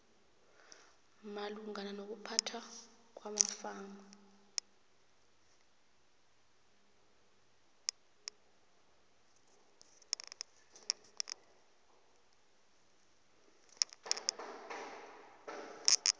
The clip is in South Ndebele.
malungana nokuphathwa kwamafa